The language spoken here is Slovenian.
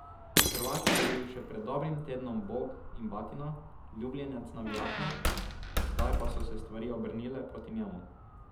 Hrvat je bil še pred dobrim tednom bog in batina, ljubljenec navijačev, zdaj pa so se stvari obrnile proti njemu.